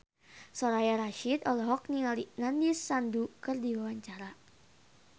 Soraya Rasyid olohok ningali Nandish Sandhu keur diwawancara